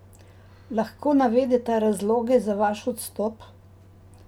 Lahko navedeta razloge za vaš odstop?